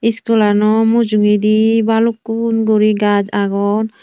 iskulano mujungedi balukkun guri gaaj agon.